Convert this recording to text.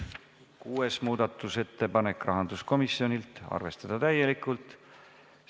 Kuues muudatusettepanek, rahanduskomisjonilt, arvestada täielikult.